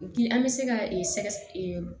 Bi an bɛ se ka ee sɛgɛsɛgɛ